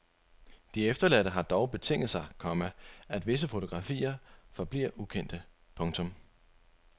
De efterladte har dog betinget sig, komma at visse fotografier forbliver ukendte. punktum